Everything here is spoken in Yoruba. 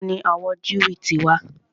Ìbo ni àwọn Jew ti wà?